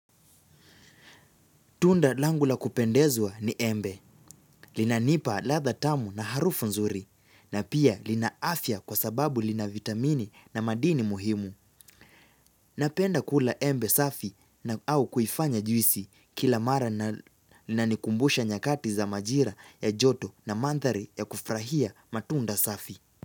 Tunda langu la kupendezwa ni embe, linanipa ladha tamu na harufu nzuri, na pia lina afya kwa sababu lina vitamini na madini muhimu. Napenda kula embe safi na au kuifanya juisi kila mara na linanikumbusha nyakati za majira ya joto na mandhari ya kufurahia matunda safi.